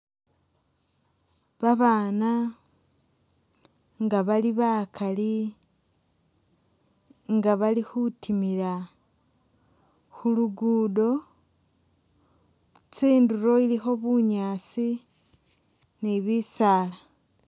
Babaana nga bali bakali nga bali khutimila khulugudo, tsinduro ilikho bunyaasi ni bisaala